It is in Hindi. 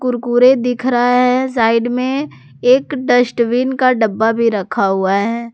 कुरकुरे दिख रहा है साइड में एक डस्टबिन का डब्बा भी रखा हुआ है।